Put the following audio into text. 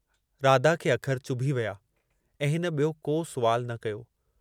राधा खे अखर चुभी विया ऐं हिन ॿियो को सुवाल न कयो।